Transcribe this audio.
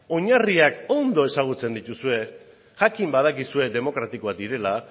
oinarriak ondo ezagutzen dituzue jakin badakizue demokratikoak direla